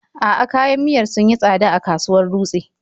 A'a, kayan miyar sun yi tsada a kasuwar Dutse.